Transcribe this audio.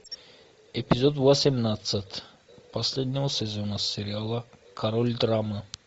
эпизод восемнадцать последнего сезона сериала король драмы